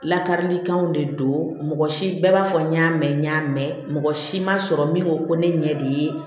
Lakarilikanw de don mɔgɔ si bɛɛ b'a fɔ n y'a mɛn n y'a mɛn mɔgɔ si ma sɔrɔ min ko ko ne ɲɛ de ye